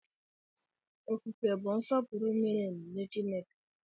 Ofufe bụ nsọpụrụ miri emi nye Chineke.